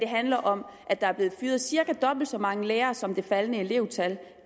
handler om at der er blevet fyret cirka dobbelt så mange lærere som det faldende elevtal